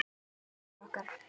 Hvað bíður okkar?